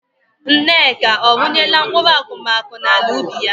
Nneka ọ rụnyela mkpụrụ akụmakụ n'ala ubi ya?